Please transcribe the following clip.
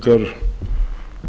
staðfestingu á